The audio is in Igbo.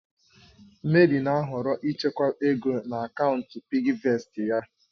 Mary na-ahọrọ ịchekwa ego na akaụntụ PiggyVestị ya.